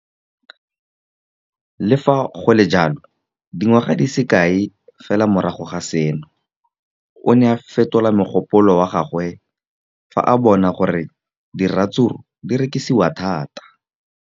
Le fa go le jalo, dingwaga di se kae fela morago ga seno, o ne a fetola mogopolo wa gagwe fa a bona gore diratsuru di rekisiwa thata.